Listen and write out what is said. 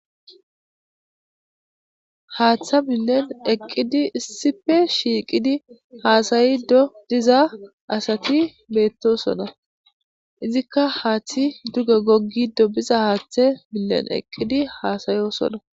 Hatha milen eqid issippe shiqid has'ido diza asat betosona, izika hathat duge gogido biza hathe miyen eqid hasa'osona .